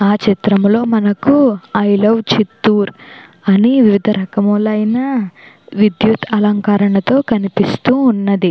ఆ చిత్రంలో మనకి ఐ లవ్ చిత్తూరు అని వివిధ రకములైన విద్యుత్ అలంకరణలతో కనిపిస్తూ ఉన్నది.